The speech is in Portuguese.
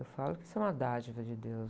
Eu falo que isso é uma dádiva de Deus.